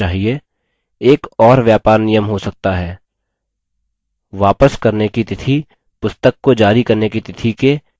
एक और व्यापार नियम हो सकता है: वापस करने की तिथि पुस्तक को जारी करने की तिथि के एक महीने बाद होनी चहिये